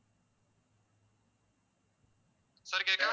sir கேக்குதா